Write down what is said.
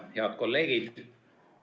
Head kolleegid!